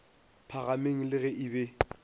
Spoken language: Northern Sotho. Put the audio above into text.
phahameng le ge a be